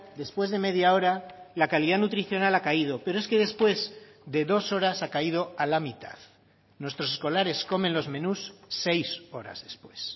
después de media hora la calidad nutricional ha caído pero es que después de dos horas ha caído a la mitad nuestros escolares comen los menús seis horas después